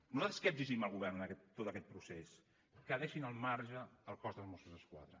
nosaltres què exigim al govern en tot aquest procés que en deixi al marge el cos de mossos d’esquadra